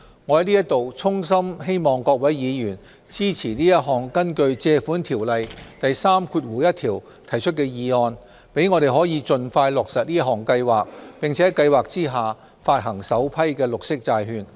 我在此衷心希望各位議員支持這項根據《借款條例》第31條提出的議案，讓我們可以盡快落實這項計劃，並在計劃下發行首批綠色債券。